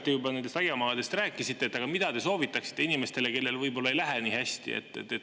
Te aiamaadest juba rääkisite, aga mida te soovitaksite inimestele, kellel võib-olla ei lähe nii hästi?